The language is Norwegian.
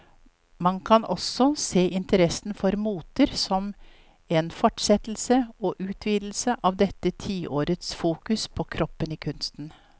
Man kan også se interessen for moter som en fortsettelse og utvidelse av dette tiårets fokus på kroppen i kunsten.